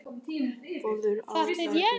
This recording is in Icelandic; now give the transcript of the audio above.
Vörður á vegi.